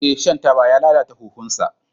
Ee, shan taba ya lalata huhunsa.